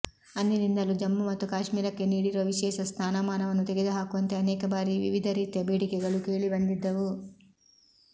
ಅಂದಿನಿಂದಲೂ ಜಮ್ಮು ಮತ್ತು ಕಾಶ್ಮೀರಕ್ಕೆ ನೀಡಿರುವ ವಿಶೇಷ ಸ್ಥಾನಮಾನವನ್ನು ತೆಗೆದುಹಾಕುವಂತೆ ಅನೇಕ ಬಾರಿ ವಿವಿಧ ರೀತಿಯ ಬೇಡಿಕೆಗಳು ಕೇಳಿಬಂದಿದ್ದವು